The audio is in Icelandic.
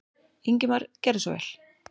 Ingimar gerðu svo vel.